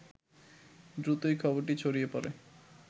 দ্রুতই খবরটি ছড়িয়ে পড়ে